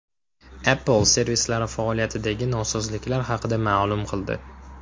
Apple servislari faoliyatidagi nosozliklar haqida ma’lum qildi.